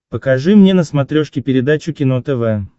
покажи мне на смотрешке передачу кино тв